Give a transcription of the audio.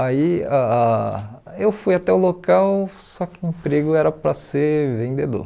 Aí ah ah eu fui até o local, só que o emprego era para ser vendedor.